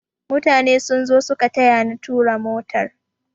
Mutane sun zo suka tayani tura motar